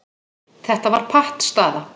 Þetta var pattstaða.